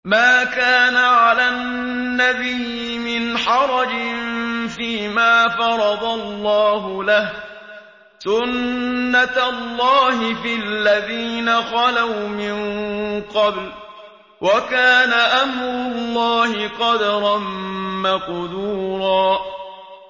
مَّا كَانَ عَلَى النَّبِيِّ مِنْ حَرَجٍ فِيمَا فَرَضَ اللَّهُ لَهُ ۖ سُنَّةَ اللَّهِ فِي الَّذِينَ خَلَوْا مِن قَبْلُ ۚ وَكَانَ أَمْرُ اللَّهِ قَدَرًا مَّقْدُورًا